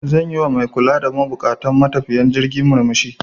Zan yi wa mai kula da buƙatun matafiyan jirgin murmushi.